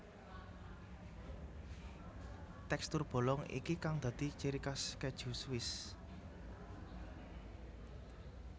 Tekstur bolong iki kang dadi ciri khas keju Swiss